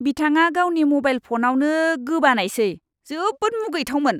बिथाङा गावनि म'बाइल फनावनो गोबानायसै। जोबोद मुगैथावमोन!